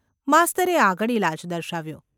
’ માસ્તરે આગળ ઇલાજ દર્શાવ્યો.